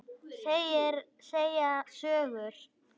Segja sögur.